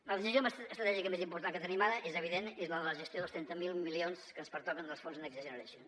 la decisió estratègica més important que tenim ara és evident és la de la gestió dels trenta miler milions que ens pertoquen dels fons next generation